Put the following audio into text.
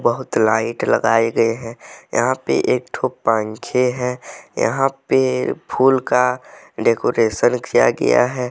बहुत लाइट लगाए गए हैं यहां पे एक ठो पंखे हैं यहां पे फूल का डेकोरेशन किया गया है।